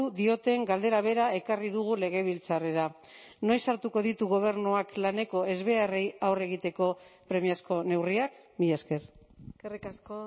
dioten galdera bera ekarri dugu legebiltzarrera noiz hartuko ditu gobernuak laneko ezbeharrei aurre egiteko premiazko neurriak mila esker eskerrik asko